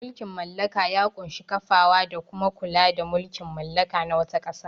Mulkin mallaka ya ƙunshi kafawa da kuma kula da mulkin mallaka na wata ƙasa.